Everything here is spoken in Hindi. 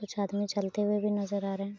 कुछ आदमी चलते हुए भी नज़र आ रहें हैं।